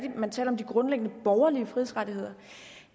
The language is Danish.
man taler om de grundlæggende borgerlige frihedsrettigheder